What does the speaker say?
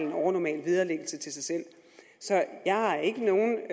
et overnormalt vederlag til sig selv så jeg har ikke nogen